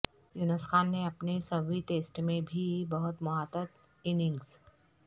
یونس خان نے اپنے سوویں ٹیسٹ میں بھی بہت محتاط اننگز